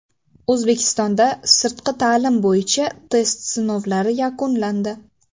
O‘zbekistonda sirtqi ta’lim bo‘yicha test sinovlari yakunlandi.